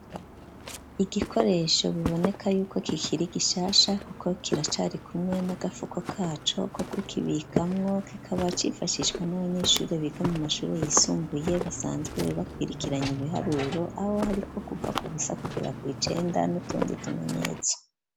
Igikoresho biboneka y'uko kikiri gishasha, kuko kiracari kumwe n'agafuko kaco ko kukibikamwo, kikaba cifashishwa n'abanyeshure biga mu mashure yisumbuye, basanzwe bakwirikiranye ibiharuro, aho hariko kuva ku busa kugera kw'icenda, n'utundi tumenyetso.